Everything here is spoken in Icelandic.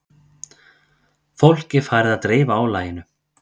Fólk er farið að dreifa álaginu